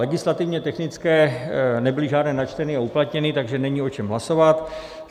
Legislativně technické nebyly žádné načteny a uplatněny, takže není o čem hlasovat.